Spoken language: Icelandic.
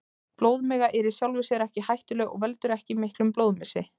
Blóðmiga er í sjálfu sér ekki hættuleg og veldur ekki miklum blóðmissi.